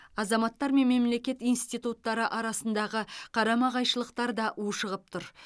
азаматтар мен мемлекет институттары арасындағы қарама қайшылықтар да ушығып тұр